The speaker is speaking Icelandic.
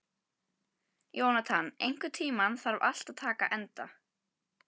Jónatan, einhvern tímann þarf allt að taka enda.